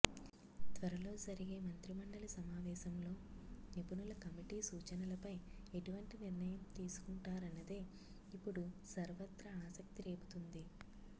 త్వరలో జరిగే మంత్రిమండలి సమావేశంలో నిపుణుల కమిటీ సూచనలపై ఎటువంటి నిర్ణయం తీసుకుంటారన్నదే ఇప్పుడు సర్వత్రా ఆసక్తి రేపుతోంది